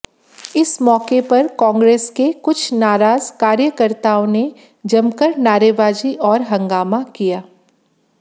इस मौके पर कांग्रेस के कुछ नाराज कार्यकर्ताओं ने जमाकर नारेबाजी और हंगामा किया